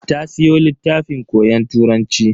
Ta siyo littafin koyon Turanci.